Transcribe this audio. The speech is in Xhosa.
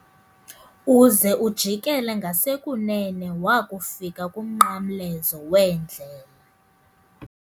Uze ujikele ngasekunene wakufika kumnqamlezo weendlela.